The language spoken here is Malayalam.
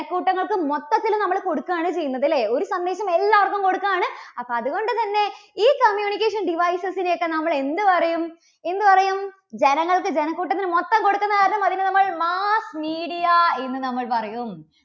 ക്കൂട്ടങ്ങൾക്ക് മൊത്തത്തിൽ നമ്മള് കൊടുക്കുകയാണ് ചെയ്യുന്നത് അല്ലേ? ഒരു സന്ദേശം എല്ലാവർക്കും കൊടുക്കുകയാണ്. അപ്പോ അതുകൊണ്ടുതന്നെ ഈ communication devices നെ ഒക്കെ നമ്മൾ എന്തു പറയും? എന്തുപറയും? ജനങ്ങൾക്ക് ജനക്കൂട്ടത്തിന് മൊത്തം കൊടുക്കുന്ന കാരണം അതിനെ നമ്മൾ mass media എന്ന് നമ്മൾ പറയും.